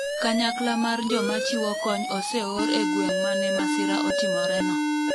kanyakla mar joma chiwo kony oseor e gweng' mane masira otimore no